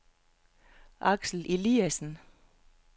Aksel Eliasen